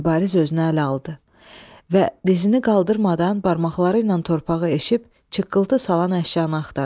Mübariz özünü ələ aldı və dizini qaldırmadan barmaqları ilə torpağı eşib çırpıltı salan əşyanı axtardı.